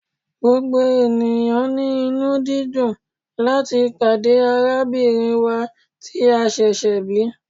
Gbogbo eniyan ni inu-didùn lati pade arabinrin wa ti a ṣẹṣẹ bi